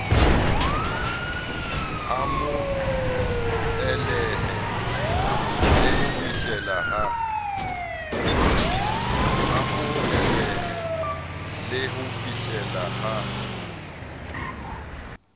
amohelehe le ho fihleleha ha